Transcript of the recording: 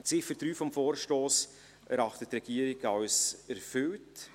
Die Ziffer 3 des Vorstosses erachtet die Regierung als erfüllt.